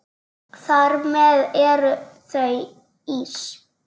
Þar með eru þau ís